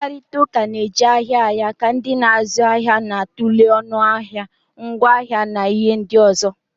Mkparịta ụka na-eju ahịa ahịa ka ndị na-azụ ahịa na-atụle ọnụ ahịa, ngwaahịa na ihe ndị ọzọ.